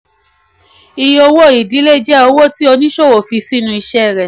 iye owó-ìdílé jẹ́ owó tí oníṣòwò fi sínú iṣẹ́ rẹ̀.